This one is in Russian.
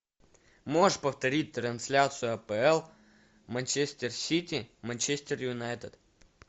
можешь повторить трансляцию апл манчестер сити манчестер юнайтед